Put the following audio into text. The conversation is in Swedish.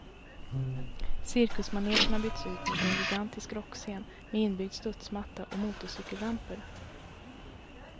Cirkusmanegen har bytts ut mot en gigantisk rockscen med inbyggd studsmatta och motorcykelramper.